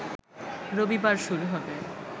রবিবার শুরু হবে